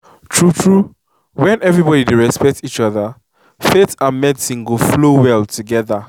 true true when everybody dey respect each other faith and medicine go flow well together.